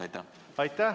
Aitäh!